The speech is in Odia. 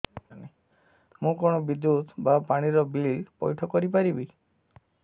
ମୁ କଣ ବିଦ୍ୟୁତ ବା ପାଣି ର ବିଲ ପଇଠ କରି ପାରିବି